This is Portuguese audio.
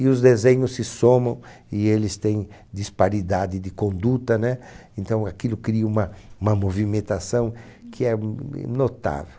e os desenhos se somam e eles têm disparidade de conduta, né? Então aquilo cria uma uma movimentação que é notável.